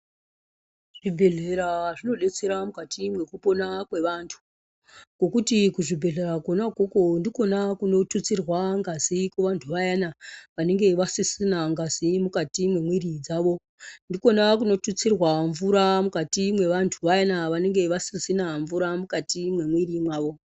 Zvibhedhlera zvinobetsera mukati mwekupona kwevantu. Ngokuti kuchibhedhlera kona ikoko ndikona kunotutsirwa ngazi kuvantu vayana vanenge vasisina ngazi mukati mwemwiri dzavo. Ndikona kunotutsirwa mvura mukati mwevantu vayana vanenge vasisina mvura mukati mwemwiri mavo.